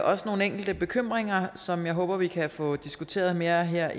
også nogle enkelte bekymringer som jeg håber vi kan få diskuteret mere her